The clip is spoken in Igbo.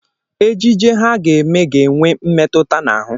Ejije ha ga-eme ga-enwe mmetụta n'ahụ.